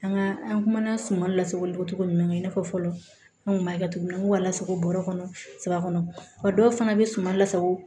An ka an kumana suman lasago cogo ɲuman i n'a fɔ fɔlɔ an kun b'a kɛ cogo min na an b'a lasago bɔrɔ kɔnɔ sama a dɔw fana bɛ suman lasago